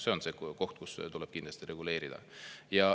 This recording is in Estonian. See on see koht, kus tuleb kindlasti reguleerida.